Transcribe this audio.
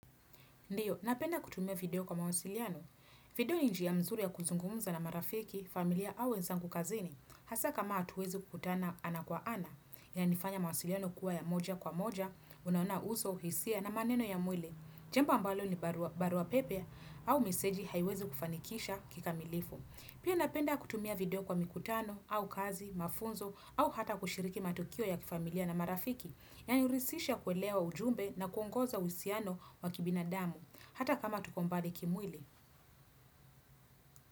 Ndiyo, napenda kutumia video kwa mawasiliano. Video ni njia mzuri ya kuzungumza na marafiki, familia au wenzangu kazini. Hasa kama hatuwezu kutana ana kwa ana. Ya nifanya mawasiliano kuwa ya moja kwa moja, unaona uso, hisia na maneno ya mwili. Jembo ambalo ni barua pepe au meseji haiwezu kufanikisha kika milifu. Pia napenda kutumia video kwa mikutano au kazi, mafunzo au hata kushiriki matukio ya kifamilia na marafiki. Ya nyurisisha kelewa ujumbe na kuongoza husiano wa kibinadamu, hata kama tuko mbali kimwili.